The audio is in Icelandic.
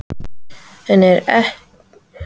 En er verkefnið gegn Val ekki vonlaust fyrirfram?